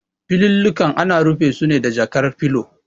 Filallika ana rufe su ne da jakar filo.